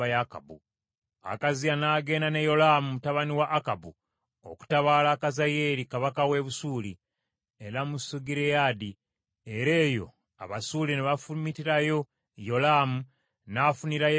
Akaziya n’agenda ne Yolaamu mutabani wa Akabu okutabaala Kazayeeri kabaka w’e Busuuli e Lamosugireyaadi, era eyo Abasuuli ne bafumitirayo Yolaamu, n’afunirayo ebiwundu.